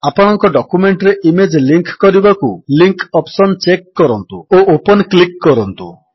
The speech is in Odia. ଆପଣଙ୍କ ଡକ୍ୟୁମେଣ୍ଟରେ ଇମେଜ୍ ଲିଙ୍କ୍ କରିବାକୁ ଲିଙ୍କ ଅପ୍ସନ୍ ଚେକ୍ କରନ୍ତୁ ଓ ଓପନ୍ କ୍ଲିକ୍ କରନ୍ତୁ